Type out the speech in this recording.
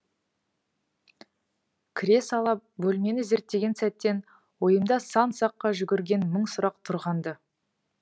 кіре сала бөлмені зерттеген сәттен ойымда сан саққа жүгірген мың сұрақ тұрған ды